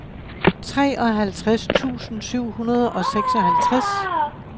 treoghalvtreds tusind syv hundrede og seksoghalvtreds